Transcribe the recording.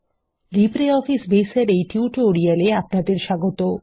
LibreOffice Base এর এই tutorial এ আপনাদের স্বাগত